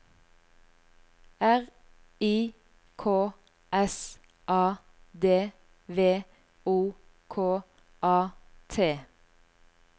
R I K S A D V O K A T